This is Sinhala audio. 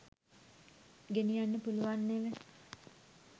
ගෙනියන්න පුලුවන් නෙව